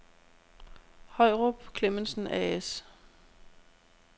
Høyrup & Clemmensen A/S